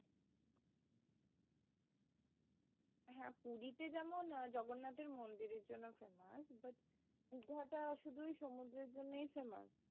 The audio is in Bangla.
হ্যাঁ পুরিতে যেমন জগন্নাথের মন্দিরের জন্য famous but দিঘাটা শুধুই সমুদ্রের জন্যই famous